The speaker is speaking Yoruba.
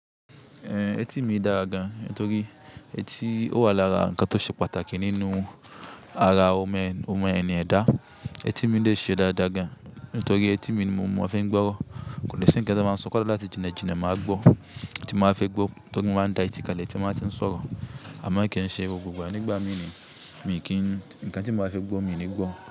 Ẹ̀ tìmì dára gan, ntorí ẹ̀tí ó wà lára nǹkan tó ṣe pàtàkì nínú ara o me n mu ẹni yẹn da ẹ̀ tìmì dè ṣe dáadáa gan, nítorí ẹ̀ tìmì ni mò mo a fi ń gbọ́rọ̀. Kò ní sí nǹkan tó n máa sọ koso láti jìnajìna má gbó, tí n maa fẹ́ gbó. Tórí mo maà ń dá etí kànlẹ̀ tí máa ti n sọ̀rọ̀. Àmọ́ kì e ṣe gbogbo gbà nígbà mí ni. Mi ki n n t--, nǹkan tí n ba fẹ́ gbó, mi ní gbó.